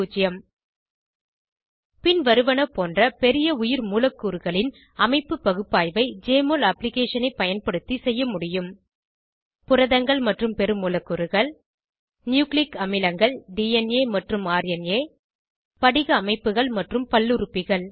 பின்வருவனபோன்ற பெரிய உயிர்மூலக்கூறுகளின் அமைப்பு பகுப்பாய்வை ஜெஎம்ஒஎல் அப்ளிகேஷனை பயன்படுத்தி செய்ய முடியும் புரதங்கள் மற்றும் பெருமூலக்கூறுகள் நியூக்ளிக் அமிலங்கள் டிஎன்ஏ மற்றும் ர்னா படிக அமைப்புகள் மற்றும் பல்லுறுப்பிகள்